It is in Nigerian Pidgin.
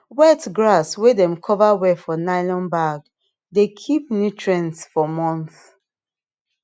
wet grass way dem cover well for nylon bag dey keep nutrients for months